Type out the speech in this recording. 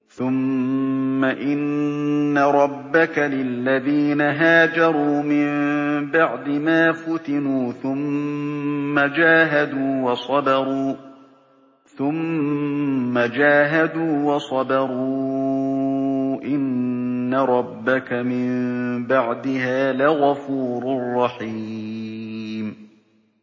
ثُمَّ إِنَّ رَبَّكَ لِلَّذِينَ هَاجَرُوا مِن بَعْدِ مَا فُتِنُوا ثُمَّ جَاهَدُوا وَصَبَرُوا إِنَّ رَبَّكَ مِن بَعْدِهَا لَغَفُورٌ رَّحِيمٌ